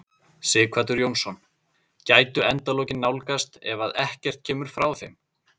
Sighvatur Jónsson: Gætu endalokin nálgast ef að ekkert kemur frá þeim?